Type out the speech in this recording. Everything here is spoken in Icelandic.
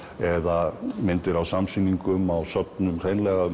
eða myndir á samsýningum á söfnum hreinlega um